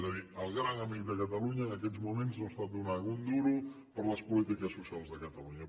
és a dir el gran amic de catalunya en aquests moments no està donant un duro per a les polítiques socials de catalunya